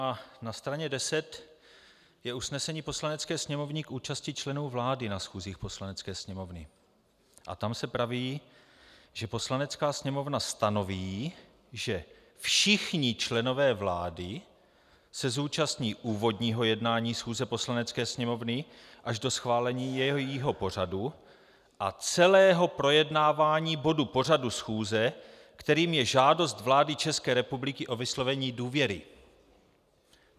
A na straně 10 je usnesení Poslanecké sněmovny k účasti členů vlády na schůzích Poslanecké sněmovny a tam se praví, že Poslanecká sněmovna stanoví, že všichni členové vlády se zúčastní úvodního jednání schůze Poslanecké sněmovny až do schválení jejího pořadu a celého projednávání bodu pořadu schůze, kterým je žádost vlády České republiky o vyslovení důvěry.